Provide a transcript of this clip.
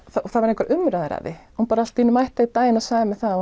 það voru engar umræður að því hún bara allt í einu mætti einn daginn og sagði mér það